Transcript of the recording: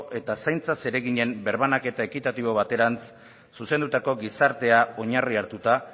eta zaintza zereginen birbanaketa ekitatibo baterantz zuzendutako gizartea oinarri hartuta